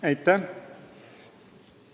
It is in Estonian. Aitäh!